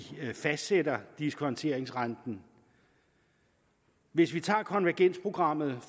fastsætter diskonteringsrenten hvis vi tager konvergensprogrammet